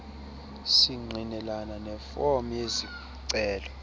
singqinelane nefom yezicelo